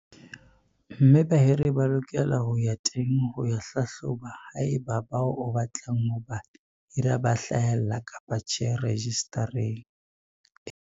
Mme bahiri ba lokela ho ya teng ho hlahloba haeba bao o batlang ho ba hira ba hlahella kapa tjhe rejistareng ena.